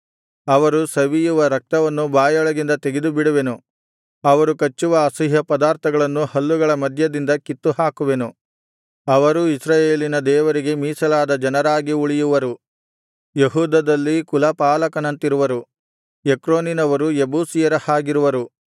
ಅವರು ಸವಿಯುವ ರಕ್ತವನ್ನು ಬಾಯೊಳಗಿಂದ ತೆಗೆದುಬಿಡುವೆನು ಅವರು ಕಚ್ಚುವ ಅಸಹ್ಯಪದಾರ್ಥಗಳನ್ನು ಹಲ್ಲುಗಳ ಮಧ್ಯದಿಂದ ಕಿತ್ತುಹಾಕುವೆನು ಅವರೂ ಇಸ್ರಾಯೇಲಿನ ದೇವರಿಗೆ ಮೀಸಲಾದ ಜನರಾಗಿ ಉಳಿಯುವರು ಯೆಹೂದದಲ್ಲಿ ಕುಲಪಾಲಕನಂತಿರುವರು ಎಕ್ರೋನಿನವರು ಯೆಬೂಸಿಯರ ಹಾಗಿರುವರು